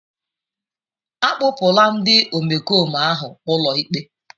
Akpụpụla ndị omekome ahụ ụlọikpe.